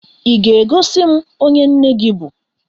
Ị ga-egosi m onye nne gị bụ?